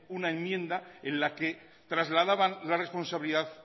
una enmienda en la que trasladaban la responsabilidad